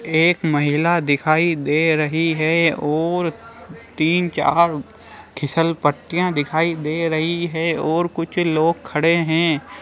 एक महिला दिखाई दे रही है और तीन चार खिसल पट्टियाँ दिखाई दे रही है और कुछ लोग खड़े है।